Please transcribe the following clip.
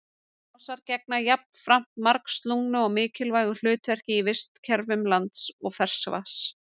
Mosar gegna jafnframt margslungnu og mikilvægu hlutverki í vistkerfum lands og ferskvatns.